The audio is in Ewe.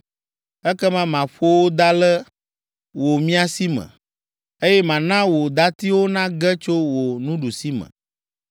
Ekema maƒo wò da le wò miasi me, eye mana wò datiwo nage tso wò nuɖusime.